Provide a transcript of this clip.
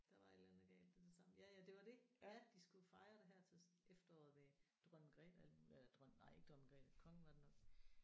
Der var et eller andet galt det er det samme ja ja det var det ja de skulle fejre det her til efteråret ved Dronning Magrethe og alt muligt eller dronning nej ikke Dronning Magrethe kongen var det nok